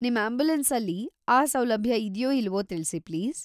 ನಿಮ್ ಆಂಬ್ಯುಲೆನ್ಸಲ್ಲಿ ಆ ಸೌಲಭ್ಯ ಇದ್ಯೋ ಇಲ್ವೋ ತಿಳ್ಸಿ ಪ್ಲೀಸ್.